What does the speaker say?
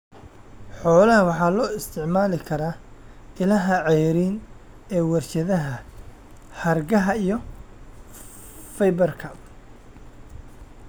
Xoolaha waxa loo isticmaali karaa ilaha ceeriin ee warshadaha hargaha iyo fiber-ka.